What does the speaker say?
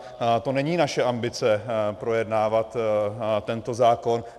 To není naše ambice projednávat tento zákon.